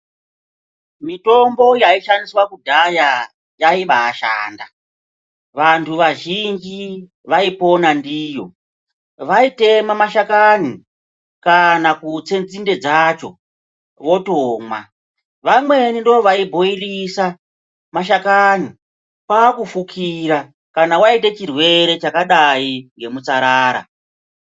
Mitombo yaishandiswa kudhaya yaiba yashanda vantu vazhinji vaipona ndiyo vaitema mashakani kana kutse nzinde dzacho votomwa vamweni ndivo vaibhoilisa mashakani kwakufukira kana waite chirwere chakadai ngemutsarara.